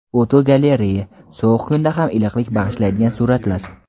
Fotogalereya: Sovuq kunda ham iliqlik bag‘ishlaydigan suratlar.